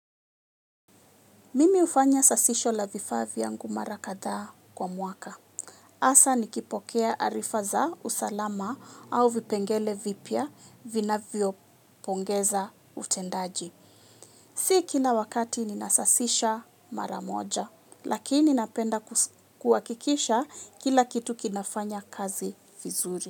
Mimi hufanya sasisho la vifaa vyangu mara kadhaa kwa mwaka. Hasa nikipokea arifa za usalama au vipengele vipya vinavyopongeza utendaji. Si kila wakati ninasasisha mara moja, lakini napenda kuhakikisha kila kitu kinafanya kazi vizuri.